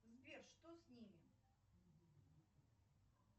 сбер что с ними